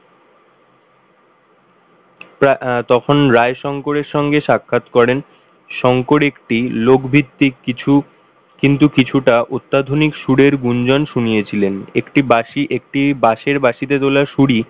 আহ তখন রায় শংকরের সঙ্গে সাক্ষাৎ করেন শংকর একটি লোক ভিত্তিক কিছু কিন্তু কিছুটা অত্যাধুনিক সুরের গুঞ্জন শুনিয়েছিলেন একটিবাঁশি একটি বাঁশের বাঁশিতে তোলা সুরই,